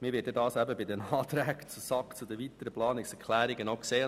Man wird dies bei den Anträgen der SAK zu den weiteren Planungserklärungen sehen.